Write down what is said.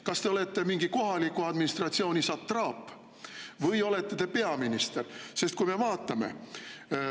Kas te olete mingi kohaliku administratsiooni satraap või olete te peaminister?